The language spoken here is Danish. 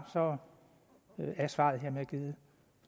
så er svaret hermed givet